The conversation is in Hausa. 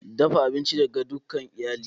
Dafa abinci ga dukan iyali!